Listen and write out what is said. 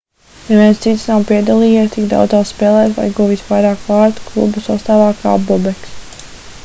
neviens cits nav piedalījies tik daudzās spēlēs vai guvis vairāk vārtu kluba sastāvā kā bobeks